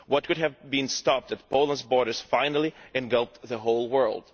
What could have been stopped at Poland's borders finally engulfed the whole world.